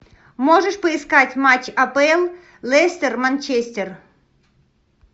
можешь поискать матч апл лестер манчестер